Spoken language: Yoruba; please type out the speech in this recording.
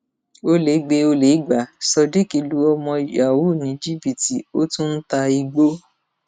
ọlẹ gbé e olè gbá sodiq lu ọmọ yahoo ní jìbìtì ó tún ń ta igbó